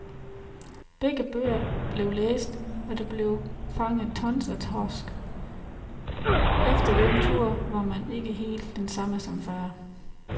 Begge bøger blev læst, der blev fanget tons af torsk, og efter den tur var man ikke helt den samme som før.